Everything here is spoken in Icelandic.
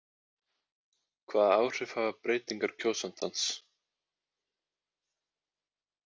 Hvaða áhrif hafa breytingar kjósandans?